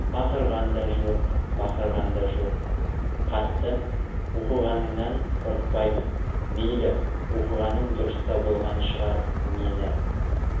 ақырған да жоқ бақырған да жоқ хатты оқығаныңнан қорықпаймын мейлі оқығаның дұрыс та болған шығар мені